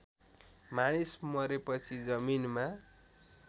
मानिस मरेपछि जमिनमा